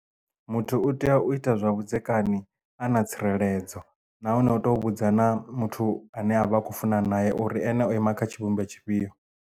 Muthu u tea u ita zwa vhudzekani a na tsireledzo nahone uto vhudza na muthu ane avha a kho funana naye uri ene o ima kha tshivhumbeo tshifhio.